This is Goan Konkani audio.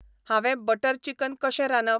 हांवे बटर चिकन कशें रांदप ?